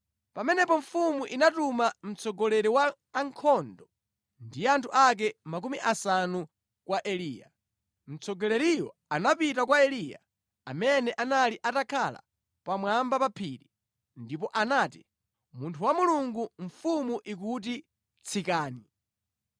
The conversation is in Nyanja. Pamenepo mfumu inatuma mtsogoleri wa ankhondo ndi anthu ake makumi asanu kwa Eliya. Mtsogoleriyo anapita kwa Eliya, amene anali atakhala pamwamba pa phiri, ndipo anati, “Munthu wa Mulungu, mfumu ikuti, ‘Tsikani!’ ”